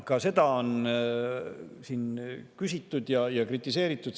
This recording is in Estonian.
Ka selle kohta on siin küsitud ja seda on kritiseeritud.